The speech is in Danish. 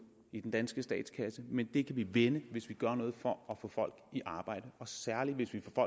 i den danske statskasse men det kan vi vende hvis vi gør noget for at få folk i arbejde særlig hvis vi får